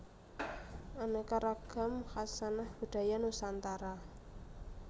Aneka Ragam Hkasanah Budaya Nusantara